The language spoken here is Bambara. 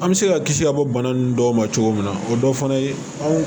An bɛ se ka kisi ka bɔ bana ninnu dɔw ma cogo min na o dɔ fana ye